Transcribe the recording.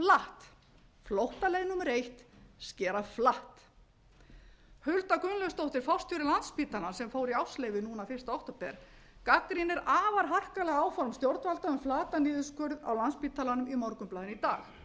flatt flóttaleið númer eitt skera flatt hulda gunnlaugsdóttir forstjóri landspítalans sem fór í ársleyfi fyrsta október gagnrýnir afar harkalega áform stjórnvalda um flatan niðurskurð á landspítalanum á morgunblaðinu í dag hún stýrði